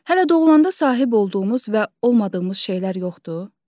Hələ doğulanda sahib olduğumuz və olmadığımız şeylər yoxdur?